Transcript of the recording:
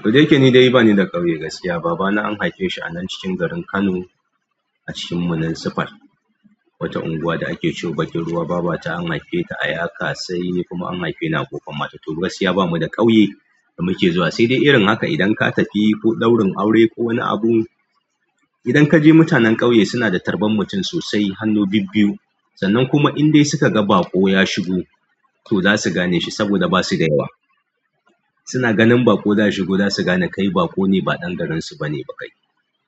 Koda ya ke ni dai ba ni da ƙauye. Gaskiya babana an haife shi a nan cikin garin Kano a cikin Muninsifal. Wata unguwa da ake ce bakin ruwa. Baba ta an haife ta a Yakasai ni kuma an haife ni a Kofar Mata. To gaskiya bamu da ƙauye da muke zuwa. Sai dai irin haka idan ka tafi ko ɗaurin aure ko wani abu, idan ka je, mutanen ƙauye suna da tarban mutum sosai, hannu bibbiyu. Sannan kuma idan suka ga baƙo ya shigo, to za su gane shi saboda ba su da yawa. Suna ganin baƙo zai shigo, za su gane kai baƙo ne ba ɗan garinsu bane ba kai.